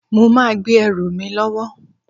Mo máa gbé ẹrù mi lọ́wọ́